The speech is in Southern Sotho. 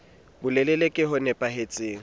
bolelele ke bo nepa hetseng